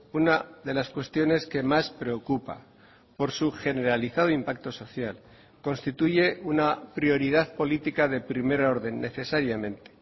una de las cuestiones que más preocupa por su generalizado impacto social constituye una prioridad política de primer orden necesariamente